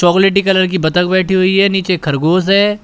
चॉकलेटी कलर की बतख बैठी हुई है नीचे खरगोश है।